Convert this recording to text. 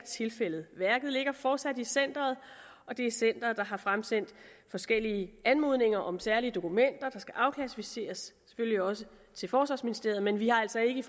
tilfældet værket ligger fortsat i centeret og det er centeret der har fremsendt forskellige anmodninger om særlige dokumenter der skal afklassificeres selvfølgelig også til forsvarsministeriet men vi har altså ikke